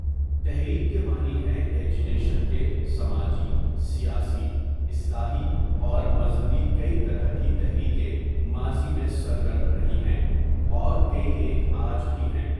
تحریک کے معنی ہیں اجیٹیشن کے سماجی، سیاسی، اصلاحی اور مذہبی کئی طرح کی تحریکیں ماضی میں سرگرم رہی ہیں اور کئی ایک آج بھی ہیں.